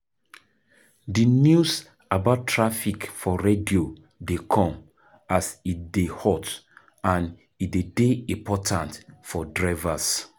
Di news about traffic for radio dey come as e dey hot and e de dey important for drivers